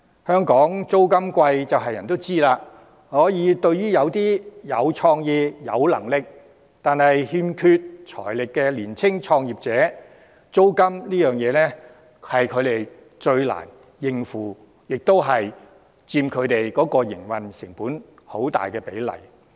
香港租金高昂眾所周知，對於一些有創意、有能力，但欠缺財力的年輕創業者，租金是他們最難應付的問題，佔營運成本很大比例。